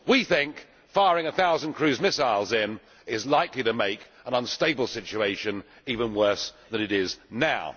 We think that firing a thousand cruise missiles is likely to make an unstable situation even worse than it is now.